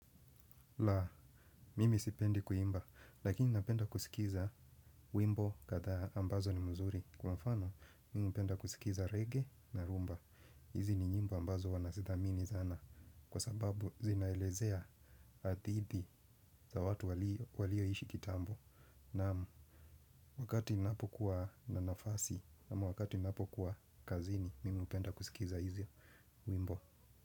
La, mimi sipendi kuimba, lakini napenda kuskiza wimbo kadhaa ambazo ni mzuri. Kwa mfano, mimi hupenda kuskiza regea na rhumba. Hizi ni nyimbo ambazo wanazidhamini sana. Kwa sababu, zinaelezea adidi za watu walioishi kitambo. Naam, wakati ninapo kuwa na nafasi, ama wakati inapo kuwa kazini mimi hupenda kusikiza hizi wimbo.